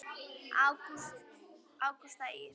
Ágústa Ýr.